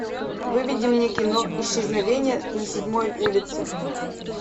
выведи мне кино исчезновение на седьмой улице